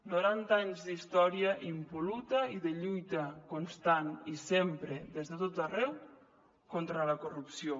noranta anys d’història impol·luta i de lluita constant i sempre des de tot arreu contra la corrupció